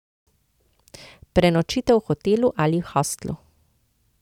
Prenočite v hotelu ali hostlu.